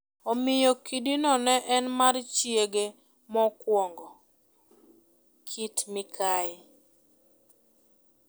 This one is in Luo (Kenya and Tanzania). Omiyo kidino ne en mar chiege mokwongo (Kit Mikayi).